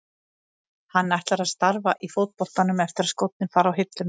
En ætlar hann að starfa í fótboltanum eftir að skórnir fara á hilluna?